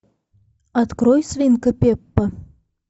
открой свинка пеппа